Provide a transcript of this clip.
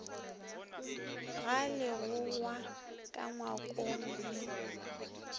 ga legogwa ka ngwakong le